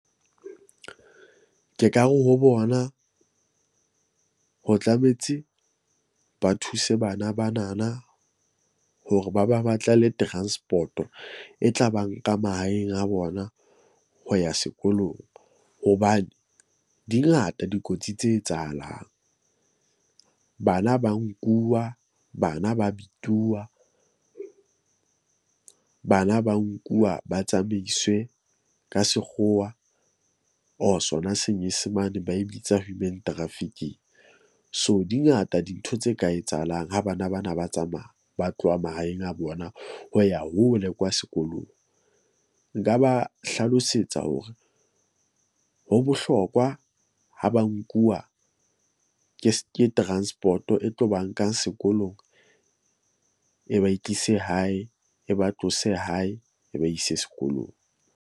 Ke ka re ho bona ho tlametse ba thuse bana bana na hore ba ba batlele transport-o. E tla ba nka mahaeng a bona ho ya sekolong. Hobane di ngata dikotsi tse etsahalang, bana ba nkuwa. Bana ba bituwa. Bana ba nkuwa ba tsamaiswe ka sekgowa or sona senyesemane ba e bitsa human trafficking. So, di ngata dintho tse ka etsahalang ha bana bana ba tsamaya ba tloha mahaeng a bona ho ya hole kwa sekolong. Nka ba hlalosetsa hore ho bohlokwa ho ba nkuwa ke ke transport-o e tlo ba nkang sekolong. E ba e tlise hae, e ba tlose hae, e ba ise sekolong.